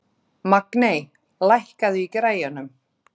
Magney, lækkaðu í græjunum.